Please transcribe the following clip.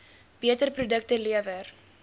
beter produkte lewer